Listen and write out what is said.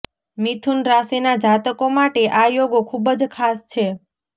મિથુન રાશિના જાતકો માટે આ યોગ ખુબજ ખાસ છે